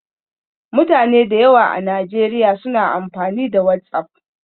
Mutane da yawa a Najeriya suna amfani da WhatsApp.